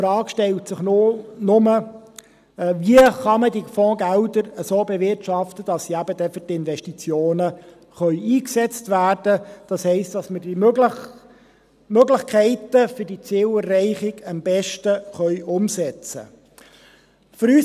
Es stellt sich nur die Frage, wie man die Fondsgelder so bewirtschaften kann, dass sie dann eben für die Investitionen eingesetzt werden können, das heisst, dass wir die Möglichkeiten für die Zielerreichung am besten umsetzen können.